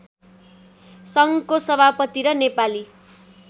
सङ्घको सभापति र नेपाली